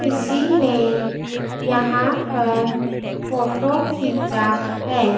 किसी ने यहां पर फोटो खींचा हैं।